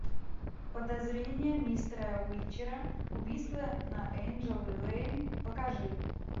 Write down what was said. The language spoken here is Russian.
подозрение мистера уичера убийство на энджел лэйн покажи